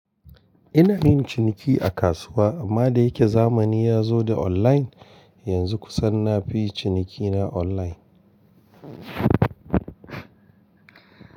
Ina yin ciniki a kasuwa amma da yake zamani ya zo da online, yanzu kusan na fi cinikina online.